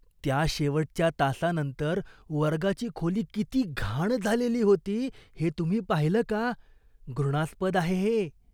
त्या शेवटच्या तासानंतर वर्गाची खोली किती घाण झालेली होती हे तुम्ही पाहिलं का?घृणास्पद आहे हे.